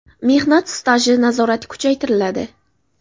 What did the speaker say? Mehnat staji nazorati kuchaytiriladi.